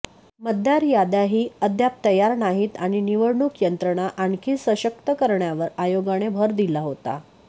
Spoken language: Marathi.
मतदार याद्याही अद्याप तयार नाहीत आणि निवडणूक यंत्रणा आणखी सशक्त करण्यावर आयोगाने भर दिला होता